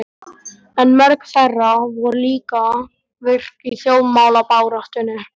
En mörg þeirra voru líka virk í þjóðmálabaráttunni.